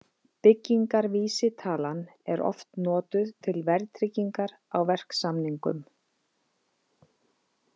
Byggingarvísitalan er oft notuð til verðtryggingar á verksamningum.